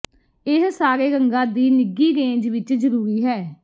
ਇਹ ਸਾਰੇ ਰੰਗਾਂ ਦੀ ਨਿੱਘੀ ਰੇਂਜ ਵਿੱਚ ਜਰੂਰੀ ਹੈ